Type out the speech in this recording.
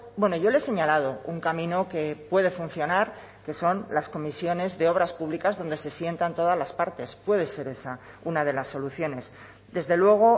bueno yo le he señalado un camino que puede funcionar que son las comisiones de obras públicas donde se sientan todas las partes puede ser esa una de las soluciones desde luego